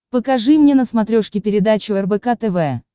покажи мне на смотрешке передачу рбк тв